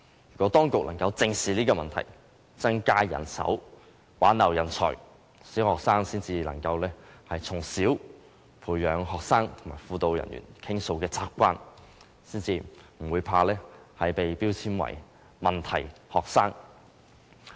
如果當局能正視這個問題，增加人手，挽留人才，小學生才能從小培養向輔導人員傾訴的習慣，不會害怕被標籤為問題學生。